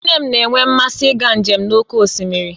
Nne m na-enwe mmasị ịga njem n'oké osimiri